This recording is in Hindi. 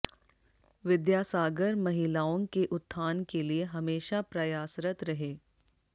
विद्यासागर महिलाओं के उत्थान के लिए हमेशा प्रयासरत रहे